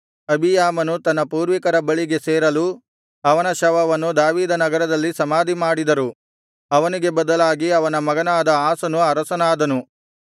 ಅಬೀಯಾಮನು ತನ್ನ ಪೂರ್ವಿಕರ ಬಳಿಗೆ ಸೇರಲು ಅವನ ಶವವನ್ನು ದಾವೀದನಗರದಲ್ಲಿ ಸಮಾಧಿ ಮಾಡಿದರು ಅವನಿಗೆ ಬದಲಾಗಿ ಅವನ ಮಗನಾದ ಆಸನು ಅರಸನಾದನು